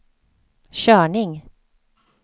körning